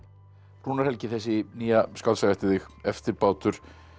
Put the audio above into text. Rúnar Helgi þessi nýja skáldsaga eftir þig eftirbátur